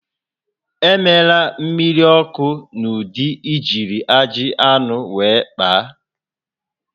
Emela mmiri ọkụ n'ụdị ijiri ajị anụ were kpaa